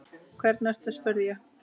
Hvernig ertu spurði ég.